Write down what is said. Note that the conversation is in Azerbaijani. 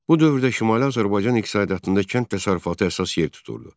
Bu dövrdə Şimali Azərbaycan iqtisadiyyatında kənd təsərrüfatı əsas yer tuturdu.